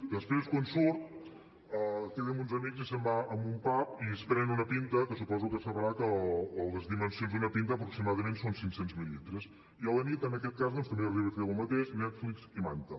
després quan surt queda amb uns amics i se’n va a un pub i es pren una pinta que suposo que sabrà que les dimensions d’una pinta aproximadament són cinc cents mil·lilitres i a la nit en aquest cas doncs també arriba a fer el mateix netflix i manta